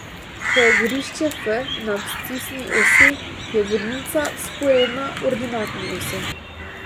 Ko je gorišče F na abscisni osi, je vodnica vzporedna ordinatni osi.